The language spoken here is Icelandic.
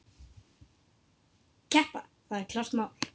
Keppa, það er klárt mál.